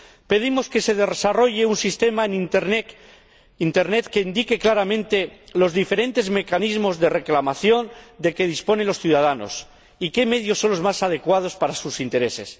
Pedimos que se desarrolle un sistema en Internet que indique claramente los diferentes mecanismos de reclamación de que disponen los ciudadanos y qué medios son los más adecuados para sus intereses.